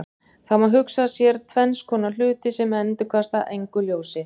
Það má hugsa sér tvenns konar hluti sem endurkasta engu ljósi.